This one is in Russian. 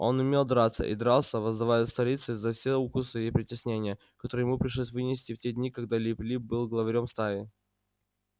он умел драться и дрался воздавая сторицей за все укусы и притеснения которые ему пришлось вынести в те дни когда лип лип был главарём стаи